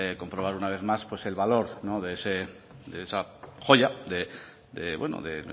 comprobar una vez más pues el valor no de esa joya de